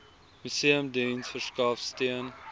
museumdiens verskaf steun